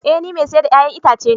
Ee ni mai siyar da 'ya'yan itace ne